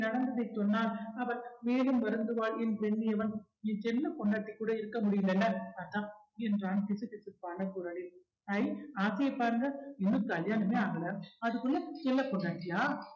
நடந்ததை சொன்னால் அவர் மேலும் வருந்துவாள் என்று என்னியவன் என் செல்ல பொண்டாட்டி கூட இருக்க முடியலைல அதான் என்றான் கிசுகிசுப்பான குறளில் ஐ ஆசையைப் பாருங்க இன்னும் கல்யாணமே ஆகலை அதுக்குள்ள செல்ல பொண்டாட்டியா